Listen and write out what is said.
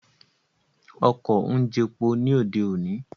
Ọkọ̀ ń jepo ní òde òní